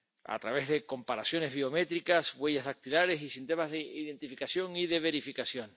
—a través de comparaciones biométricas, huellas dactilares y sistemas de identificación y de verificación—.